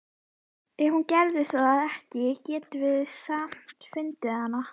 Ef hún gerði það ekki getum við samt fundið hana.